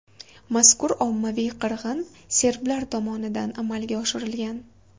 Mazkur ommaviy qirg‘in serblar tomonidan amalga oshirilgan.